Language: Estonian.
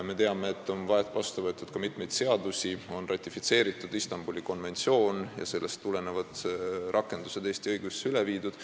Me teame, et on vastu võetud ka mitu seadust, ratifitseeritud Istanbuli konventsioon ja tehtud muudatusi Eesti õiguses selle rakendamiseks.